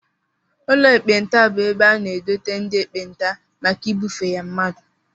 Ụlọ ekpenta bụ ebe a na-edote ndị ekpenta maka ibufe ya mmadụ